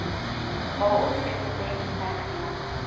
bold represents maxima